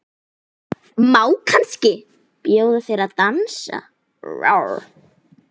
Má kannski bjóða þér að dansa?